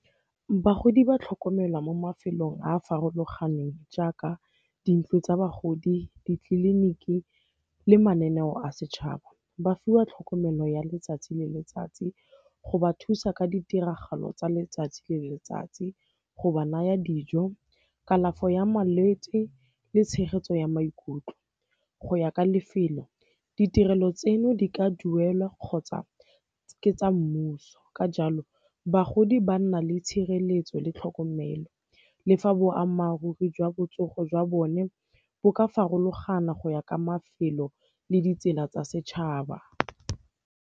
Bagodi ba tlhokomelwa mo mafelong a a farologaneng jaaka dintlo tsa bagodi, ditleliniki le mananeo a setšhaba. Ba fiwa tlhokomelo ya letsatsi le letsatsi go ba thusa ka ditiragalo tsa letsatsi le letsatsi, go ba naya dijo, kalafo ya malwetse le tshegetso ya maikutlo. Go ya ka lefelo, ditirelo tseno di ka duelwa kgotsa ke tsa mmuso, ka jalo bagodi ba nna le tshireletso le tlhokomelo. Le fa boammaaruri jwa botsogo jwa bone bo ka farologana go ya ka mafelo le ditsela tsa setšhaba.